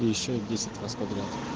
и ещё десять раз подряд